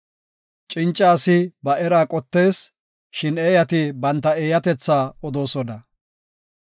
Cinca asi ba eraa qottees; shin eeyati banta eeyatetha odoosona.